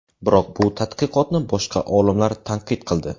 Biroq bu tadqiqotni boshqa olimlar tanqid qildi.